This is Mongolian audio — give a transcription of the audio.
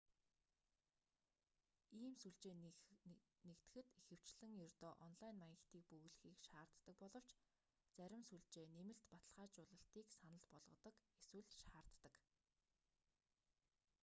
ийм сүлжээнд нэгдэхэд ихэвчлэн ердөө онлайн маягтыг бөглөхийг шаарддаг боловч зарим сүлжээ нэмэлт баталгаажуулалтыг санал болгодог эсвэл шаарддаг